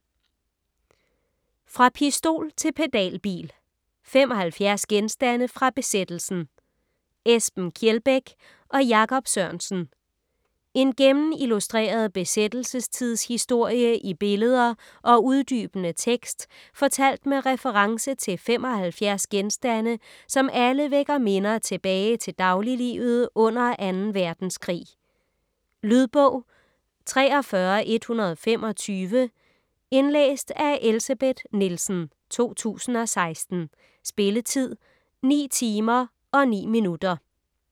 Fra pistol til pedalbil: 75 genstande fra besættelsen Esben Kjeldbæk og Jakob Sørensen En gennemillustreret besættelsestidshistorie i billeder og uddybende tekst fortalt med reference til 75 genstande, som alle vækker minder tilbage til dagliglivet under 2. verdenskrig. Lydbog 43125 Indlæst af Elsebeth Nielsen, 2016. Spilletid: 9 timer, 9 minutter.